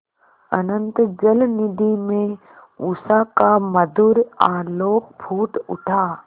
अनंत जलनिधि में उषा का मधुर आलोक फूट उठा